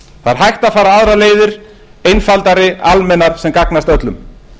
það er hægt að fara aðrar leiðir einfaldari almennar sem gagnast öllum